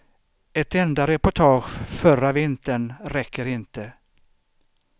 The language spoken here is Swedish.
Ett enda reportage förra vintern räcker inte.